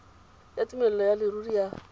ya tumelelo ya leruri ya